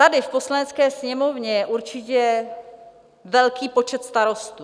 Tady v Poslanecké sněmovně je určitě velký počet starostů.